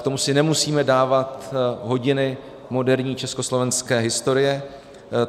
K tomu si nemusíme dávat hodiny moderní československé historie.